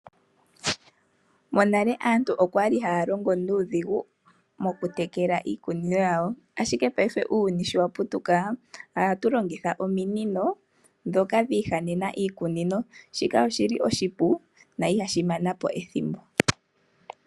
Monale aantu okwali haya longo nuudhigu mokutekela iikunino yawo. Ashike ngashingeyi uuyuni sho wa putuka ohatu longitha ominino ndhoka dhi ihanena iikunino shika oshili oshipu na ihashi mana po ethimbo.